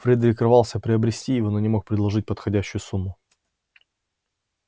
фредерик рвался приобрести его но не мог предложить подходящую сумму